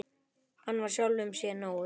Hann var sjálfum sér nógur.